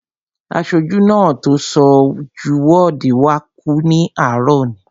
Aṣojú náà tó so jú wọ́ọ̀dù wá kú ní àárọ̀ òní